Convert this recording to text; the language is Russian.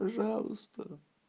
пожалуйста